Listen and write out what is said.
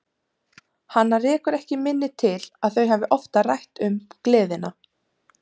Hana rekur ekki minni til að þau hafi oftar rætt um gleðina.